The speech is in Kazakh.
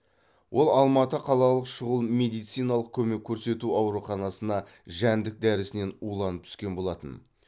ол алматы қалалық шұғыл медициналық көмек көрсету ауруханасына жәндік дәрісінен уланып түскен болатын